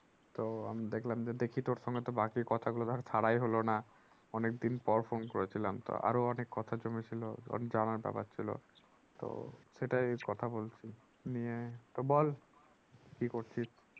তো আমি দেখলাম যে দেখি তোর সঙ্গে তো বাকি কথা গুলো ধরে সারাই হলো না। অনেক দিন পর phone করেছিলাম। তা আরো অনেক কথা জমে ছিল জানার ব্যাপার ছিল। তো সেটাই কথা বলছি। নিয়ে তো বল কি করছিস?